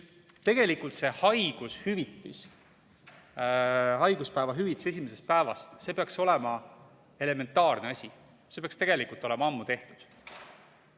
Tegelikult see haigushüvitis, haiguspäeva hüvitis esimesest päevast, see peaks olema elementaarne asi, see peaks tegelikult olema ammu tehtud.